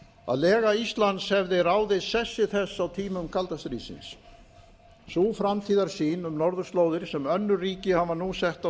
að lega íslands hefði ráðið sessi þess á tímum kalda stríðsins sú framtíðarsýn um norðurslóðir sem önnur ríki hafa nú sett á